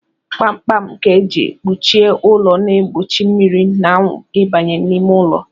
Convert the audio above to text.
Gbamgbam e ji kpuchie ụlọ na-egbochi mmiri na anwụ ịbanye n'ime ụlọ